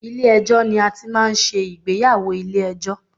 Ilé ẹjọ́ ni a ti ń máa ń ṣe ìgbéyàwó ilé ẹjọ́.